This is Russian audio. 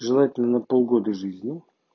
желательно полгода жизни